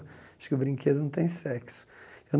Acho que o brinquedo não tem sexo.